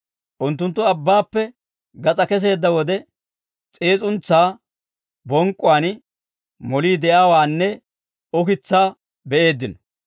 Unttunttu abbaappe gas'aa kesseedda wode, s'iis'untsaa bonk'k'uwaan molii de'iyaawaanne ukitsaa be'eeddino.